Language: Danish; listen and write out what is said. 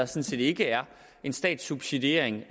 set ikke en statssubsidiering